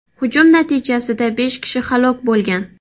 Hujum natijasida besh kishi halok bo‘lgan.